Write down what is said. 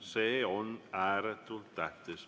See on ääretult tähtis.